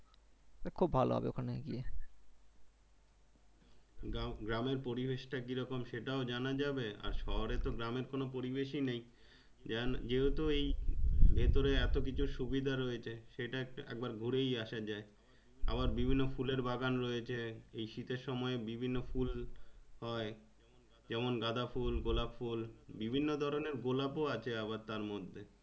এই শীতের সময়ে বিভিন্ন ফুল হয় যেমন গাঁদা ফুল গোলাপ ফুল বিভিন্ন ধরণের গোলাপ ও আছে আবার তার মধ্যে।